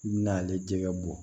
N'ale jɛgɛ bɔ